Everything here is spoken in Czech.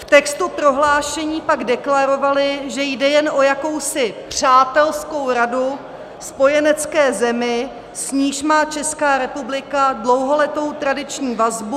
V textu prohlášení pak deklarovali, že jde jen o jakousi přátelskou radu spojenecké zemi, s níž má Česká republika dlouholetou tradiční vazbu -